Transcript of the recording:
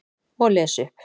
Og les upp.